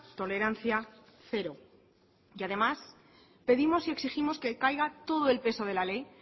tolerancia cero y además pedimos y exigimos que caiga todo el peso de la ley